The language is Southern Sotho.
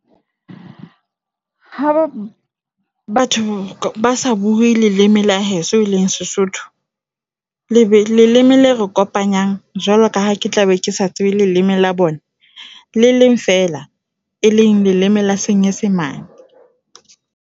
Ha bo batho basa bue leleme la heso e leng SeSotho. Le be leleme la re kopanyang jwalo ka ha ke tla be ke sa tsebe leleme la bona le leng fela e leng leleme la senyesemane.